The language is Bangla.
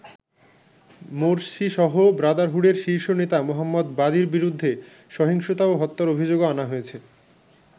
মোরসিসহ ব্রাদারহুডের শীর্ষ নেতা মোহাম্মদ বাদির বিরুদ্ধে সহিংসতা ও হত্যার অভিযোগও আনা হয়েছে।